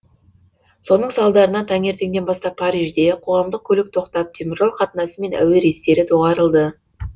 соның салдарынан таңертеңнен бастап парижде қоғамдық көлік тоқтап теміржол қатынасы мен әуе рейстері доғарылды